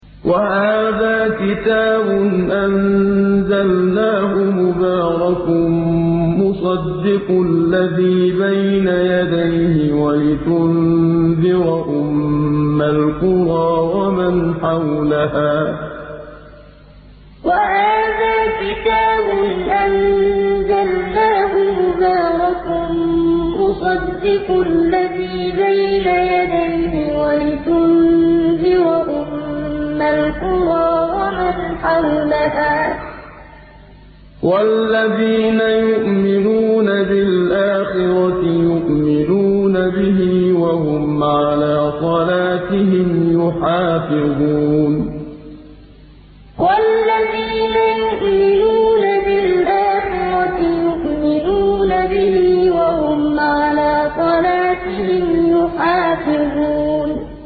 وَهَٰذَا كِتَابٌ أَنزَلْنَاهُ مُبَارَكٌ مُّصَدِّقُ الَّذِي بَيْنَ يَدَيْهِ وَلِتُنذِرَ أُمَّ الْقُرَىٰ وَمَنْ حَوْلَهَا ۚ وَالَّذِينَ يُؤْمِنُونَ بِالْآخِرَةِ يُؤْمِنُونَ بِهِ ۖ وَهُمْ عَلَىٰ صَلَاتِهِمْ يُحَافِظُونَ وَهَٰذَا كِتَابٌ أَنزَلْنَاهُ مُبَارَكٌ مُّصَدِّقُ الَّذِي بَيْنَ يَدَيْهِ وَلِتُنذِرَ أُمَّ الْقُرَىٰ وَمَنْ حَوْلَهَا ۚ وَالَّذِينَ يُؤْمِنُونَ بِالْآخِرَةِ يُؤْمِنُونَ بِهِ ۖ وَهُمْ عَلَىٰ صَلَاتِهِمْ يُحَافِظُونَ